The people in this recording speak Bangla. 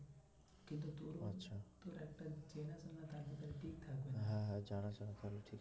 হ্যাঁ হ্যাঁ যারা যারা করে ঠিক